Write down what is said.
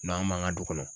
N'an m'an ka du kɔnɔ